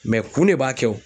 kun de b'a kɛ o